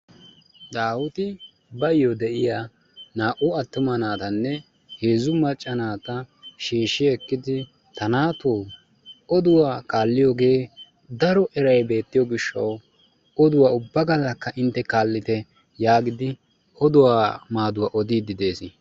Daawiti baayyo de'iya naa"u attuma naatanne heezzu macca naata shiishi ekkidi ta naatoo, oduwaa kaalliyogee daro eray beettiyo gishshawu oduwa ubba gallakka intte kaallite yaagidi oduwaa maaduwa odiiddi de'ees.